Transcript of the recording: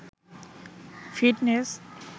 fitness